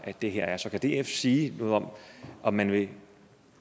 det her så kan df sige noget om om man vil